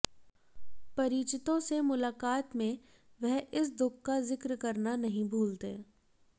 परिचितों से मुलाकात में वह इस दुख का जिक्र करना नहीं भूलते